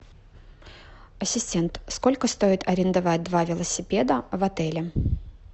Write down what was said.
ассистент сколько стоит арендовать два велосипеда в отеле